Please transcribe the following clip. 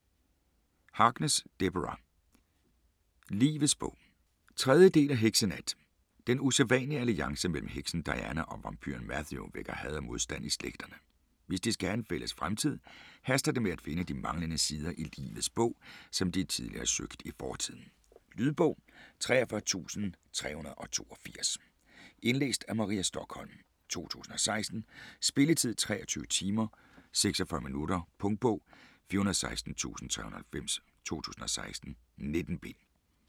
Harkness, Deborah: Livets bog 3. del af Heksenat. Den usædvanlige alliance mellem heksen Diana og vampyren Matthew vækker had og modstand i slægterne. Hvis de skal have en fælles fremtid, haster det med at finde de manglende sider i Livets Bog, som de tidligere har søgt i fortiden. Lydbog 43382 Indlæst af Maria Stokholm, 2016. Spilletid: 23 timer, 46 minutter. Punktbog 416390 2016. 19 bind.